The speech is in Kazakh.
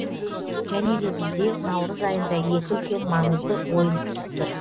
және де бізде наурыз айында екі үлкен маңызды ойын күтіп тұр